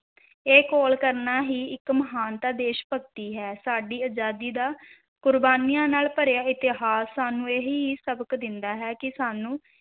ਇਹ ਘੋਲ ਕਰਨਾ ਹੀ ਇੱਕ ਮਹਾਨਤਾ ਦੇਸ਼-ਭਗਤੀ ਹੈ, ਸਾਡੀ ਅਜਾਦੀ ਦਾ ਕੁਰਬਾਨੀਆਂ ਨਾਲ ਭਰਿਆ ਇਤਿਹਾਸ ਸਾਨੂੰ ਇਹ ਹੀ ਸਬਕ ਦਿੰਦਾ ਹੈ ਕਿ ਸਾਨੂੰ,